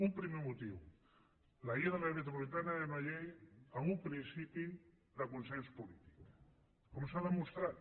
un primer motiu la llei de l’àrea metropolitana era una llei amb un principi de consens polític com s’ha demostrat